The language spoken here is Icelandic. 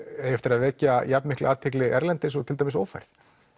eigi eftir að vekja jafn mikla athygli erlendis eins og til dæmis ófærð